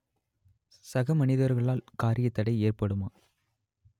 சக மனிதர்களால் காரியத்தடை ஏற்படுமா